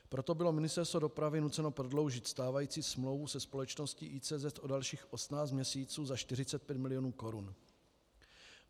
Proto bylo Ministerstvo dopravy nuceno prodloužit stávající smlouvu se společností ICZ o dalších 18 měsíců za 45 milionů korun.